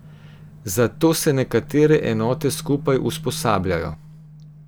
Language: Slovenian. Zato se nekatere enote skupaj usposabljajo.